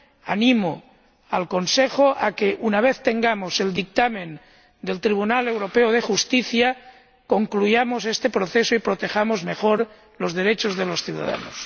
Animo al Consejo a que, una vez dispongamos del dictamen del Tribunal de Justicia de la Unión Europea, concluyamos este proceso y protejamos mejor los derechos de los ciudadanos.